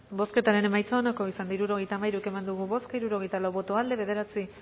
bozketaren emaitza onako izan da hirurogeita hamairu eman dugu bozka hirurogeita lau boto aldekoa nueve